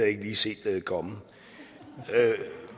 ikke lige set komme